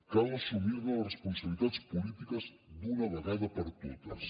cal assumir ne les responsabilitats polítiques d’una vegada per totes